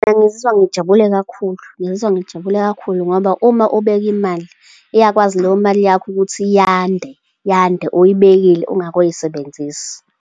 Ngizizwa ngijabule kakhulu. Ngizizwa ngijabule kakhulu ngoba uma ubeke imali iyakwazi leyo mali yakho ukuthi yande, yande, uyibekile ungakayosebenzisi.